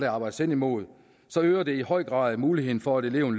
arbejdes henimod øger det i høj grad muligheden for at eleven